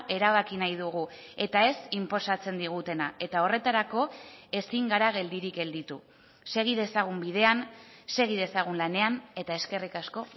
erabaki nahi dugu eta ez inposatzen digutena eta horretarako ezin gara geldirik gelditu segi dezagun bidean segi dezagun lanean eta eskerrik asko